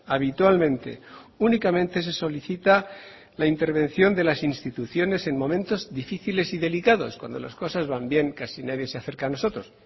habitualmente únicamente se solicita la intervención de las instituciones en momentos difíciles y delicados cuando las cosas van bien casi nadie se acerca a nosotros